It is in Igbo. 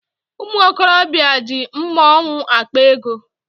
Ụmụ okorobịa ji mmaọnwụ akpa ego.